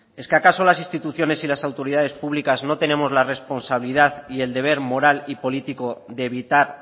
es que acaso las instituciones y las autoridades públicas no tenemos la responsabilidad y el deber moral y político de evitar